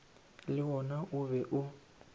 le wona o be o